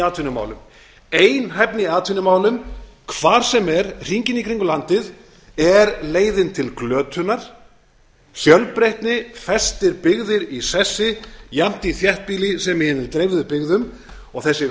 einhæfni í atvinnumálum hvar sem er hringinn í kringum landið er leiðin til glötunar fjölbreytni festir byggðir í sessi jafnt í þéttbýli sem í hinum dreifðu byggðum og sessi